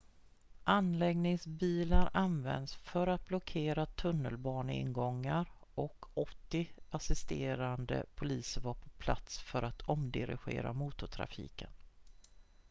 anläggningsbilar användes för att blockera tunnelbaneingångar och 80 assisterande poliser var på plats för att omdirigera motortrafiken